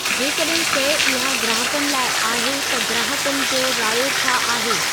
जेकॾहिं शइ इहा ग्राहकनि लाइ आहे त ग्राहकनि जो रायो छा आहे